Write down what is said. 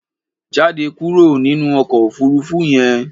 Jáde kúrò nínú ọkọ̀ òfuurufú yẹn!